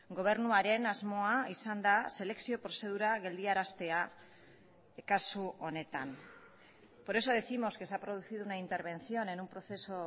gobernuaren asmoa izan da selekzio prozedura geldiaraztea kasu honetan por eso décimos que se ha producido una intervención en un proceso